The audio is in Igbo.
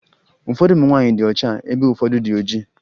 Ụfọdụ ụmụ nwaanyị dị ọcha ebe ụfọdụ dị oji